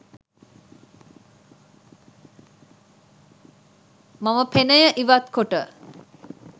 මම පෙනය ඉවත් කොට